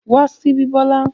Wá síbí Bola!